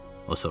O soruşdu.